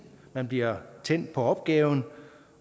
man bliver tændt på opgaven